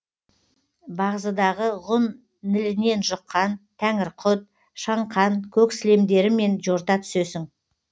бағзыдағы ғұн нілінен жұққан тәңірқұт шаңқан көк сілемдерімен жорта түсесің